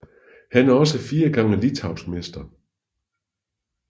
Han er også fire gange litauisk mester